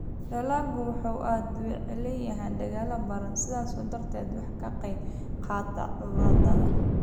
Dalaggu wuxuu aad u waxyeeleeyaa dalagyada baradhada, sidaas darteed waxay ka qayb qaadataa cudurrada